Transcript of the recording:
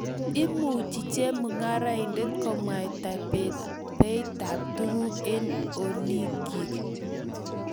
Imuchi chemungaraindet komwaita beitab tuguk eng olikyik